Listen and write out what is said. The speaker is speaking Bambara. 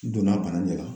Donna bana dɔ la